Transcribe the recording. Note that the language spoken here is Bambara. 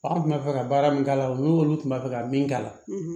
An tun b'a fɛ ka baara min k'a la o n'olu tun bɛ fɛ ka min k'a la